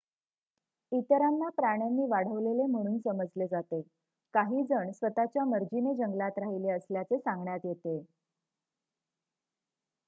इतरांना प्राण्यांनी वाढवलेले म्हणून समजले जाते; काही जण स्वत:च्या मर्जीने जंगलात राहिले असल्याचे सांगण्यात येते